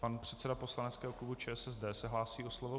Pan předseda poslaneckého klubu ČSSD se hlásí o slovo.